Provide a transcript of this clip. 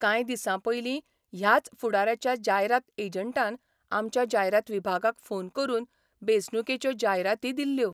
कांय दिसांपयली ह्याच फुडाऱ्याच्या जायरात एजंटान आमच्या जायरात विभागाक फोन करून बेंचणुकेच्यो जायराती दिल्ल्यो.